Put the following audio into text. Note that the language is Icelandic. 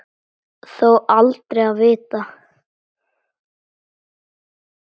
Þó aldrei að vita.